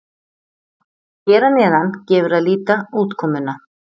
Hér að neðan gefur að líta útkomuna.